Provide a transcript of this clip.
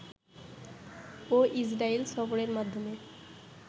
ও Israel সফরের মাধ্যমে